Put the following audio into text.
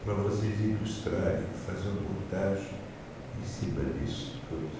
para vocês ilustrarem, fazer uma montagem em cima disso tudo.